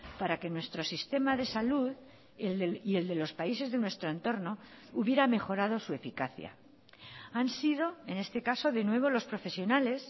para que nuestro sistema de salud y el de los países de nuestro entorno hubiera mejorado su eficacia han sido en este caso de nuevo los profesionales